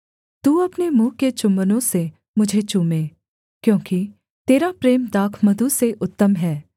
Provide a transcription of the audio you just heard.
तू अपने मुँह के चुम्बनों से मुझे चूमे क्योंकि तेरा प्रेम दाखमधु से उत्तम है